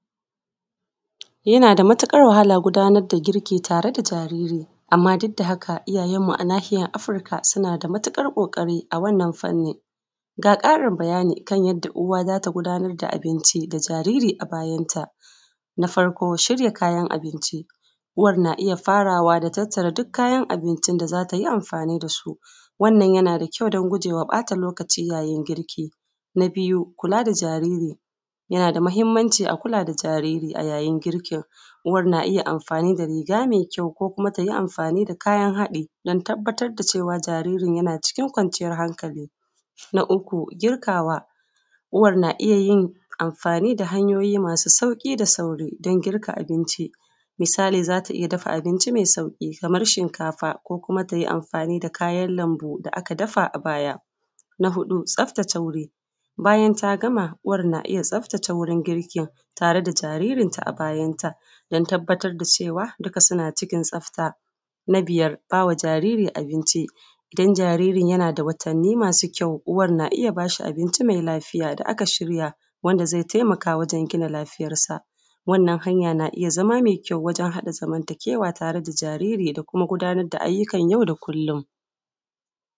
Yana da matuƙar wahala gudanar da girki tare da jariri amma duk da haka iyayenmu a nahiyar afirka suna da matukar ƙoƙari a wannan fanni ga ƙarin bayani kan yadda uwa za ta gudanar da abinci da jariri a bayanta, na farko shirya kayan abinci na iya farawa da tattara duk kayan abinci da za ta yi amfani da su wannan yana da ƙyau don gujewa ɓata lokaci wajen girki na biyu kuka da jariri yana da muhimmanci a kula da jariri a wurin girkin uwar na iya amfani da riga mai ƙyau ko kuma amfani da kayan haɗi a tabbatar da cewa jariri yana cikin kwanciyar hankali na uku girkawa uwar na iya yin amfani da hanyoyin mafi sauƙi da sauri don girka abinci. Misali za ta iya girka abinci mai sauƙi kamar shinkafa kuma ta yi amfani da Kayan lambu da aka dafa a baya. Na huɗu tsaftace wuri, bayan ta gama uwar na iya tsaftace wuri tare jaririnta na baya don tabbatar da cewa suna ciki tsafta. Na biyar ba wa jariri abinci don jariri idan jaririn yana da watanni masu ƙyau uwar na iya ba shi abinci mai lafiya wanda aka shirya wanda zai taimaka wajen gina Lafiyarsa. Wannan hanyar na iya zama mai ƙyau wajen haɗa zamantakewa da jariri da kuma ayyukan yau da kullum